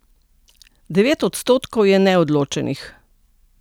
Devet odstotkov je neodločenih.